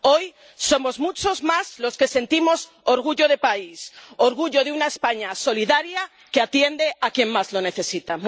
Hoy somos muchos más los que sentimos orgullo de país, orgullo de una España solidaria que atiende a quien más lo necesita.